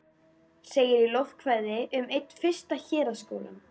segir í lofkvæði um einn fyrsta héraðsskólann.